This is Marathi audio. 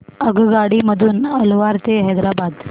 आगगाडी मधून अलवार ते हैदराबाद